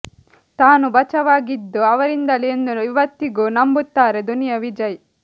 ತಾನು ಬಚಾವ್ ಆಗಿದ್ದು ಅವರಿಂದಲೇ ಎಂದು ಇವತ್ತಿಗೂ ನಂಬುತ್ತಾರೆ ದುನಿಯಾ ವಿಜಯ್